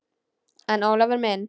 En Ólafur minn.